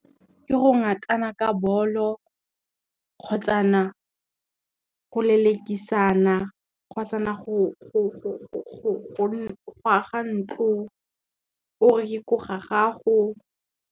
Ke go ngatana ka bolo, kgotsa na go lelekisana, kgotsa na go aga ntlo o re ke ko ga gago.